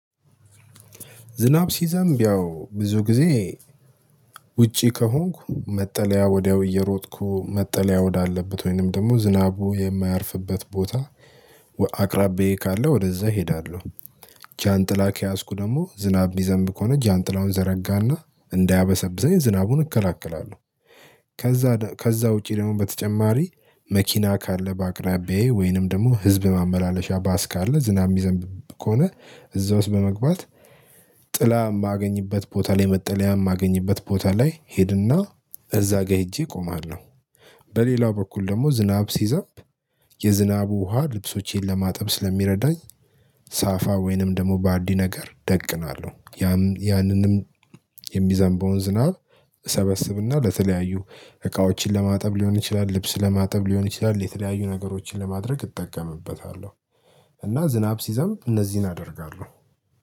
ዝናብ ሲዘንብ ያው ብዙ ጊዜ ውጪ ከሆንኩ መጠለያ ወዲያው እየሮጥኩ መጠለያ ወዳለበት ወይንም ደግሞ ዝናቡ የማያርፍበት ቦታ አቅራቢዬ ካለ ወደዛ እሄዳለሁ። ጃንጥላ ከያዝኩ ደግሞ ዝናብ ሚዘንብ ከሆነ ጃንጥላውን ዘረጋና እንዳያበሰብሰኝ ዝናቡን እከላከላለሁ። ከዛ ከዛ ውጪ ደግሞ በተጨማሪ መኪና ካለ በአቅራቢያዬ ወይንም ደግሞ ህዝብ ማመላለሻ ባስ ካለ ዝናብ ሚዘንብ ከሆነ እዛ ውስጥ በመግባት ጥላ የማገኝበት ቦታ ላይ መጠለያ የማገኝበት ቦታ ላይ እሄድና እዛ ጋር ሄጄ እቆማለሁ። በሌላው በኩል ደግሞ ዝናብ ሲዘንብ የዝናቡ ውሃ ልብሶቼን ለማጠብ ስለሚረዳኝ ሳፋ ወይንም ደግሞ ባልዲ ነገር እደቅናለሁ። ያንንም የሚዘንበውን ዝናብ እሰበስብና ለተለያዩ እቃዎችን ለማጠብ ሊሆን ይችላል ልብስ ለማጠብ ሊሆን ይችላል የተለያዩ ነገሮችን ለማድረግ እጠቀምበታለሁ። እና ዝናብ ሲዘንብ እነዚህን አደርጋለሁ።